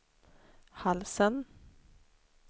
halsen